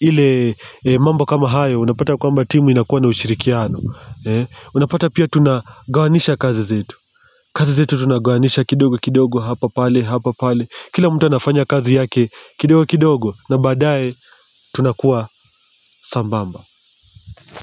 ile mambo kama haya, unapata kwamba timu inakuwa na ushirikiano. Unapata pia tunagawanisha kazi zetu kazi zetu tunagawanisha kidogo kidogo hapa pale hapa pale Kila mtu anafanya kazi yake kidogo kidogo na badae tunakuwa sambamba.